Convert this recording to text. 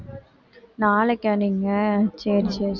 நாளைக்கா நீங்க சரி சரி